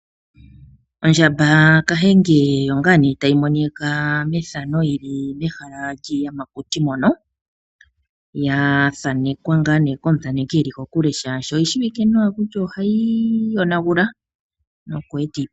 Ondjamba kahenge oyo ngaa ne tayi monika methano yili mehala lyiiyamakuti mono. Ya thanekwa ngaa ne komuthaneki eli kokule. Shashi oyi shiwike nawa kutya ohayi yonagula. Nokwe eti iiponga.